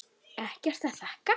Ekkert að þakka